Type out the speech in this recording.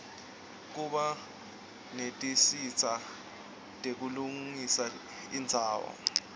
kuba netinsita tekulungisa indzawo